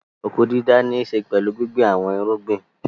Oko-dídá níṣe pẹ̀lú gbíngbin àwọn irúgbìn.